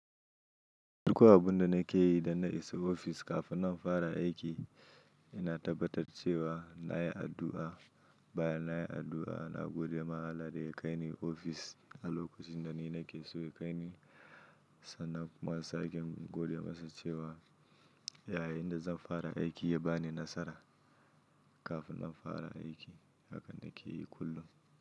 Duk wa abunda na ke yi da na isa ofis kafin na fara aiki, ina tabbatar cewa na yi addu'a. Bayan na yi addu'a, na gode ma Allah da ya kaini ofis. A lokacin da na yi nake so ya kaini, sannan kuma sake gode masa cewa, yaya ina zan fara aiki ya bani nasara kafin na fara aiki. Haka na ke yi kullum.